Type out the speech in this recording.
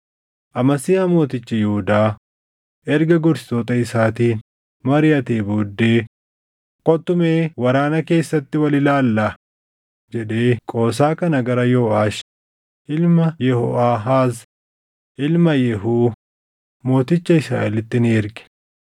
Amasiyaa mootichi Yihuudaa erga gorsitoota isaatiin mariʼatee booddee, “Kottu mee waraana keessatti wal ilaallaa” jedhee qoosaa kana gara Yooʼaash ilma Yehooʼaahaaz, ilma Yehuu, mooticha Israaʼelitti ni erge.